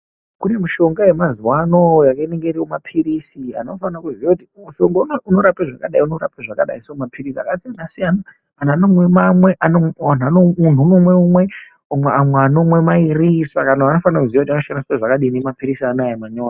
Kune mushonga yemazuva ano yakaita kunge mapirisi inoti mushonga uyu unorapei zvakadai uyu unorape zvakadai ,mapirisi akasiyana siyana amweni muntu unomwe rimwe amwe anomwiwa mairi saka muntu unofane kuziva kuti ndoshandisa zvakadini mapirisi anawa manyowani